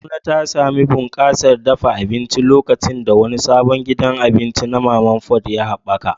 Kaduna ta sami bunƙasar dafa abinci lokacin da wani sabon gidan abinci na mama put ya haɓaka.